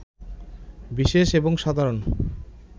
বিশেষ এবং সাধারণ